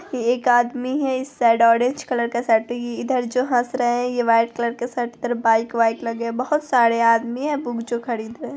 एक आदमी है इस साइड ऑरेंज कलर का शर्ट इधर जो हंस रहा है| यह व्हाइट कलर के शर्ट की तरफ बाइक - वाइक लगे बहुत सारे आदमी है वो जो खरीद रहे हैं।